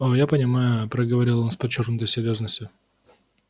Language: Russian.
о я понимаю проговорил он с подчёркнутой серьёзностью